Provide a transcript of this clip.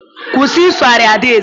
Kwụsị isogharị ada Eze!